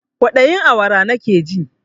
Kwaɗayin awara nakeji